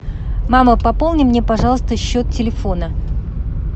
мама пополни мне пожалуйста счет телефона